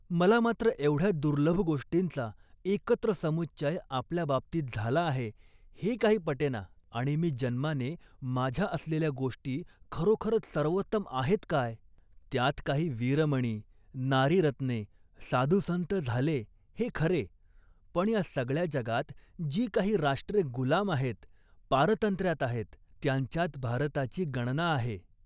मला मात्र एवढ्या दुर्लभ गोष्टींचा एकत्र समुच्चय आपल्या बाबतीत झाला आहे, हे काही पटेना आणि मी जन्माने माझ्या असलेल्या गोष्टी खरोखरच सर्वोत्तम आहेत काय. त्यात काही वीरमणी, नारीरत्ने, साधुसंत झाले हे खरे, पण या सगळ्या जगात जी काही राष्ट्रे गुलाम आहेत, पारतंत्र्यात आहेत, त्यांच्यात भारताची गणना आहे